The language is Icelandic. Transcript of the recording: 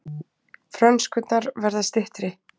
Frönskurnar verða styttri